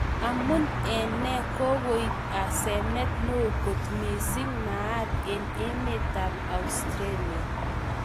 Amun en ne Kogoip asenet neo kot missing maat en emet ap australia